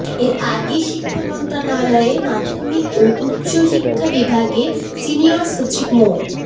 এর আগে শিক্ষা মন্ত্রণালয়ের মাধ্যমিক ও উচ্চশিক্ষা বিভাগের সিনিয়র সচিব মো